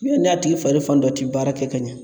Yanni n'a tigi fari fan dɔ ti baara kɛ ka ɲɛ